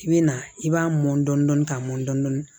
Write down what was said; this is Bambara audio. I bɛ na i b'a mɔn dɔɔni ka mɔn dɔn dɔni